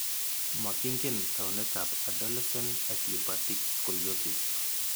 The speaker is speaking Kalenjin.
Makingen taunetab adolescent idiopathic scoliosis?